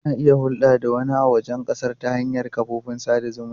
Kuna iya hulɗa da wani a wajen ƙasar ta hanyar kafofin sada zumunci.